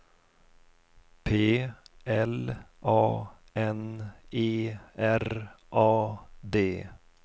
P L A N E R A D